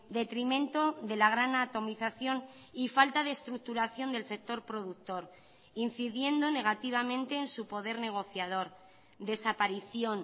detrimento de la gran atomización y falta de estructuración del sector productor incidiendo negativamente en su poder negociador desaparición